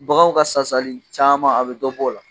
Baganw ka sasali caman, a bɛ dɔ bɔ o la.